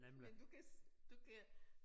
Men du kan du kan